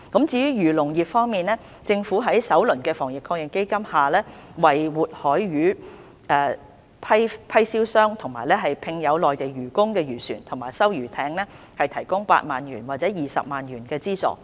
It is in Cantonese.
至於漁農業方面，政府在首輪的防疫抗疫基金下為活海魚批銷商及聘有內地漁工的漁船和收魚艇提供8萬元或20萬元的資助。